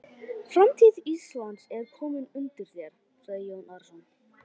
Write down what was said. Framtíð landsins er komin undir þér, sagði Jón Arason.